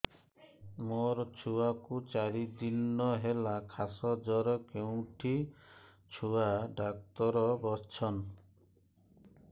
ମୋ ଛୁଆ କୁ ଚାରି ଦିନ ହେଲା ଖାସ ଜର କେଉଁଠି ଛୁଆ ଡାକ୍ତର ଵସ୍ଛନ୍